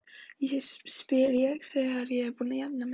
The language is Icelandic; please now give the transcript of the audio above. spyr ég þegar ég er búin að jafna mig.